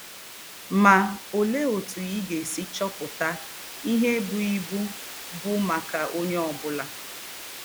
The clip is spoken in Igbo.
Ma olee otu ị ga-esi chọpụta ihe ibu ibu bụ maka onye ọ bụla?